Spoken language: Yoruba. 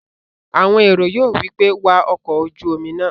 Àwọn èrò yóò wí pé "wa ọkọ̀-ojúomi náà!"